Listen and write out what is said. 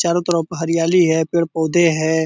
चारों तरफ हरयाली है पेड़-पौधे हैं।